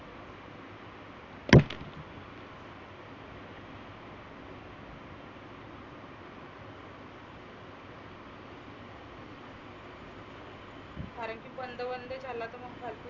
कारण की बंद बंद झाला तर मग फल्तु